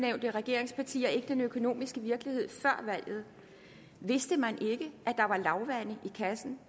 regeringspartier ikke den økonomiske virkelighed før valget vidste man ikke at der var lavvande i kassen